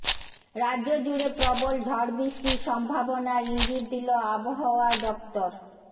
রাজ্যজুড়ে প্রবল ঝড় বৃষ্টির সম্ভাবনার ইঙ্গিত দিল আবহাওয়া দফতর